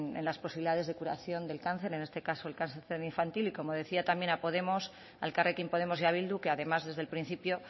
en las posibilidades de curación de cáncer en este caso el cáncer infantil y como decía también a elkarrekin podemos y a bildu que además desde el principio